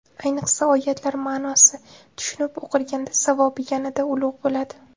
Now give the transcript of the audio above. Ayniqsa, oyatlar ma’nosi tushunib o‘qilganda savobi yanada ulug‘ bo‘ladi.